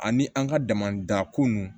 Ani an ka damada ko nun